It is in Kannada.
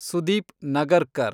ಸುದೀಪ್ ನಗರ್ಕರ್